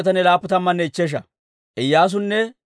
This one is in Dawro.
Elaama yaratuu 1,254.